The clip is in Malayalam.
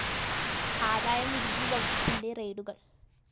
ആദായ നികുതി വകുപ്പിന്റെ റെയ്ഡുകള്‍